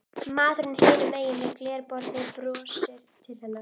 Maðurinn hinum megin við glerborðið brosir til hennar.